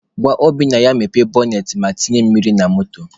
Gwa Obinna ya mepee bọnet ma tinye mmiri na moto